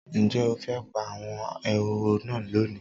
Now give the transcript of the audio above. Ǹjẹ́ o fẹ́ pa àwọn ehoro náà lónìí?